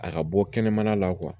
A ka bɔ kɛnɛmana la